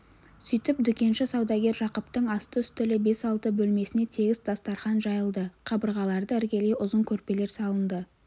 сөйтіп дүкенші-саудагер жақыптың асты-үстілі бес-алты бөлмесіне тегіс дастарқан жайылды қабырғаларды іргелей ұзын көрпелер салынды